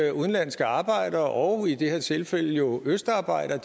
at udenlandske arbejdere og i det her tilfælde jo østarbejdere